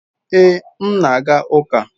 Ee, m na-aga uka